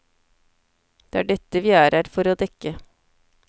Det er dette vi er her for å dekke.